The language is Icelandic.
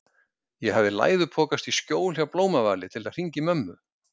Ég hafði læðupokast í skjól hjá Blómavali til að hringja í mömmu.